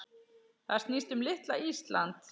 Það snýst um litla Ísland.